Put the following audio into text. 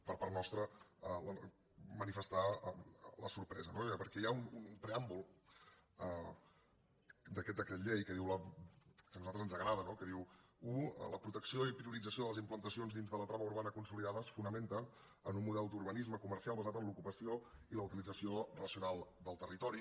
per part nostra manifestar la sorpresa no perquè hi ha un preàmbul d’aquest decret llei que a nosaltres ens agrada que diu u la protec·ció i priorització de les implantacions dintre la trama urbana consolidada es fonamenta en un model d’urba·nisme comercial basat en l’ocupació i la utilització ra·cional del territori